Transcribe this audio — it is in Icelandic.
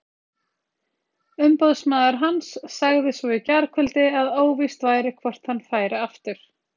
Umboðsmaður hans sagði svo í gærkvöld að óvíst væri hvort hann færi aftur.